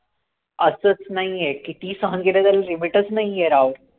असच नाहीये कितीही सहन केले तरी limit चं नाहीये राव